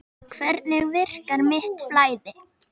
Þannig virkar mitt flæði.